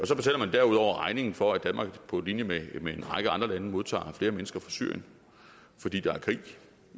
derudover regningen for at danmark på linje med med en række andre lande modtager flere mennesker fra syrien fordi der er krig